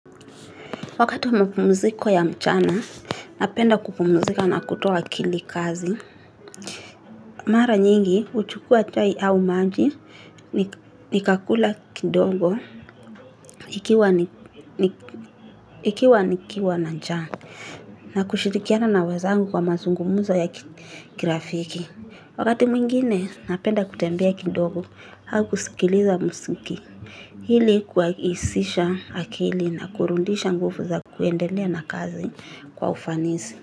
Wakati wa mapumuziko ya mchana, napenda kupumzika na kutoa akili kazi. Mara nyingi, huchukua chai au maji, nikakula kidogo, ikiwa nikiwa na njaa. Na kushirikiana na wenzangu kwa mazungumzo ya kirafiki. Wakati mwingine, napenda kutembea kidogo, au kusikiliza muziki. Ili kuhisisha akili na kurudisha nguvu ya kuendelea na kazi kwa ufanisi.